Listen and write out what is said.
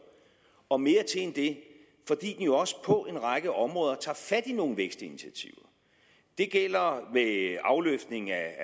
og mere til end det fordi den jo også på en række områder tager fat i nogle vækstinitiativer det gælder ved afløftning af